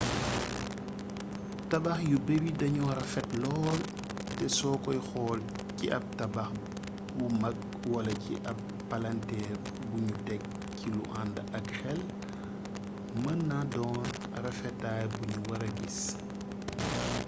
tabax yu bari dañoo rafet lool te soo koy xool ci ab tabax bu magwala ci ab palanteer buñu tek ci lu ànd ak xel mën naa doon rafetaay buñu wara gis